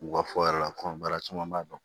U ka fɔ yɛrɛ kɔnba caman b'a dɔn